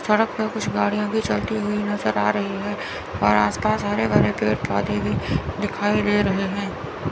सड़क पे कुछ गाड़ियां भी चलती हुई नजर आ रही है और आस पास हरे भरे पेड़ पौधे भी दिखाई दे रहे हैं।